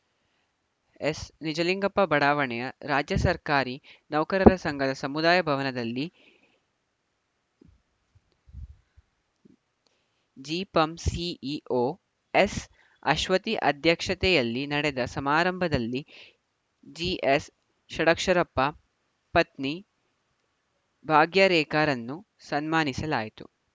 ಎಸ್‌ನಿಜಲಿಂಗಪ್ಪ ಬಡಾವಣೆಯ ರಾಜ್ಯ ಸರ್ಕಾರಿ ನೌಕರರ ಸಂಘದ ಸಮುದಾಯ ಭವನದಲ್ಲಿ ಜಿಪಂ ಸಿಇಒ ಎಸ್‌ಅಶ್ವತಿ ಅಧ್ಯಕ್ಷತೆಯಲ್ಲಿ ನಡೆದ ಸಮಾರಂಭದಲ್ಲಿ ಜಿಎಸ್‌ ಷಡಕ್ಷರಪ್ಪ ಪತ್ನಿ ಭಾಗ್ಯರೇಖಾರನ್ನು ಸನ್ಮಾನಿಸಲಾಯಿತು